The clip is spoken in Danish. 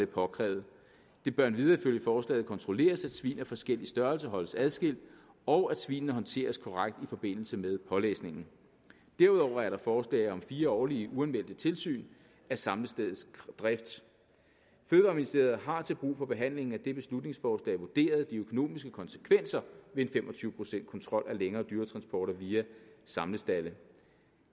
påkrævet det bør endvidere ifølge forslaget kontrolleres at svin af forskellig størrelse holdes adskilt og at svinene håndteres korrekt i forbindelse med pålæsningen derudover er der forslag om fire årlige uanmeldte tilsyn af samlestedets drift fødevareministeriet har til brug for behandlingen af dette beslutningsforslag vurderet de økonomiske konsekvenser ved en fem og tyve procents kontrol af længere dyretransporter via samlestalde